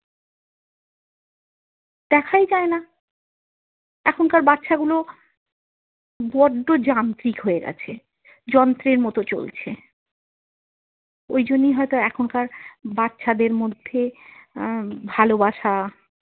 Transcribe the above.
দেখাই যায় না এখনকার বাচ্ছাগুলো বড্ড যান্ত্রিক হয়ে গেছে যন্ত্রের মতো চলছে ওই জন্যেই হয়ত এখনকার বাচ্চাদের মধ্যে আহ ভালোবাসা।